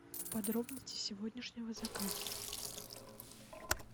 подробности сегодняшнего заказа